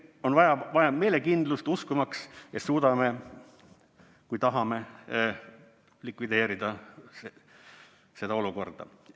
On vaja meelekindlust uskumaks, et suudame, kui tahame likvideerida seda olukorda.